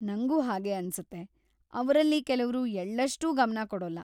ನಂಗೂ ಹಾಗೇ ಅನ್ಸುತ್ತೆ, ಅವ್ರಲ್ಲಿ ಕೆಲವ್ರು ಎಳ್ಳಷ್ಟೂ ಗಮನ ಕೊಡೊಲ್ಲ.